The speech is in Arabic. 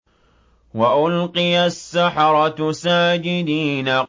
وَأُلْقِيَ السَّحَرَةُ سَاجِدِينَ